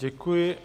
Děkuji.